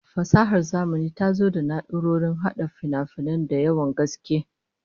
Fasahar zamani ta zo da na'urrorin hada finafinai da yawan gaske